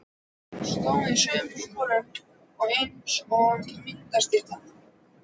Stóð í sömu sporum eins og myndastytta.